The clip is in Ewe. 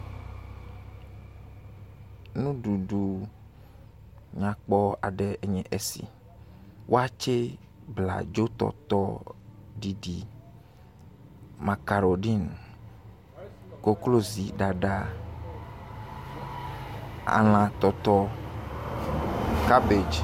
Nuɖuɖu nyakpɔ aɖe enye esi. Waakye, abladzo tɔtɔ ɖiɖi, makarodin, koklozi ɖaɖa, elã tɔtɔ, kabagi.